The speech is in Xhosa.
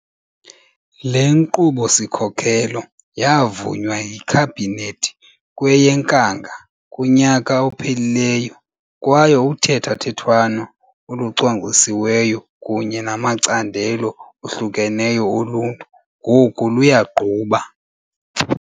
Le Nkqubo-sikhokelo ya vunywa yiKhabhinethi kweyeNkanga kunyaka ophelileyo kwaye uthethathethwano olucwangcisiweyo kunye namacandelo ohlukeneyo oluntu ngoku luyagquba.